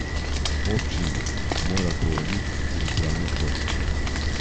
Občini mora povrniti tudi pravdne stroške.